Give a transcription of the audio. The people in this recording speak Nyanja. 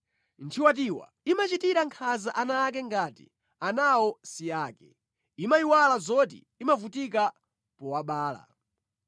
Nthiwatiwa imachitira nkhanza ana ake ngati anawo si ake; Imayiwala zoti inavutika powabala.